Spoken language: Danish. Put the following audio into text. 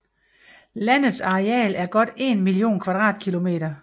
Landets areal er godt 1 mio km²